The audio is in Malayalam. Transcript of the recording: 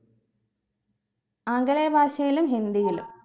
ആംഗലേയ ഭാഷയിലും ഹിന്ദിയിലും